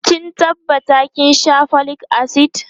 ki tabbata kin Sha folic acid!